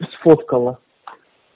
сфотографировала